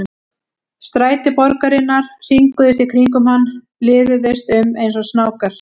Stræti borgarinnar hringuðust í kringum hann, liðuðust um eins og snákar.